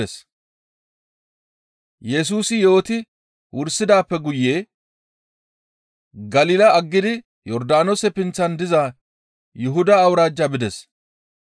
Yesusi yooti wursidaappe guye Galila aggidi Yordaanoose pinththan diza Yuhuda awuraajja bides.